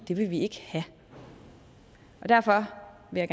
det vil vi ikke have derfor vil